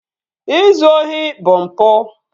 Ịzụ ohi bụ mpụ